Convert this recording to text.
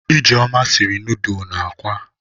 Ijeoma siri nọọdụlụ na akwa.